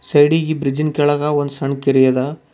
ಸೈಡಿ ಗಿ ಬ್ರಿಡ್ಜ್ ಇನ್ ಕೆಳಗ ಒಂದು ಸಣ್ ಕೆರಿ ಅದ.